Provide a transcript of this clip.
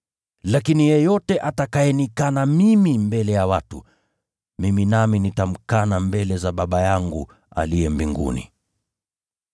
Lakini yeyote atakayenikana mimi mbele ya watu, mimi nami nitamkana mbele za Baba yangu aliye mbinguni.”